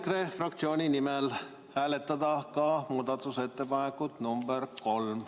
Palun EKRE fraktsiooni nimel hääletada ka muudatusettepanekut nr 3.